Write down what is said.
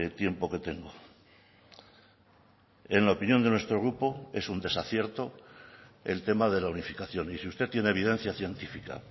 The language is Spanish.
tiempo que tengo en la opinión de nuestro grupo es un desacierto el tema de la unificación y si usted tiene evidencia científica